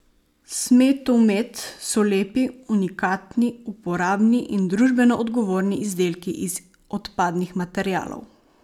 Smetumet so lepi, unikatni, uporabni in družbeno odgovorni izdelki iz odpadnih materialov.